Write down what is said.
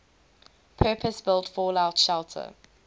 purpose built fallout shelter